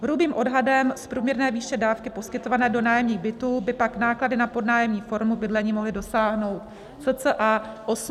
Hrubým odhadem z průměrné výše dávky poskytované do nájemních bytů by pak náklady na podnájemní formu bydlení mohly dosáhnout cca 850 milionů.